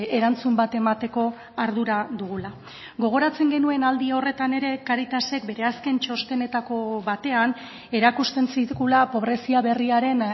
erantzun bat emateko ardura dugula gogoratzen genuen aldi horretan ere cáritasek bere azken txostenetako batean erakusten zigula pobrezia berriaren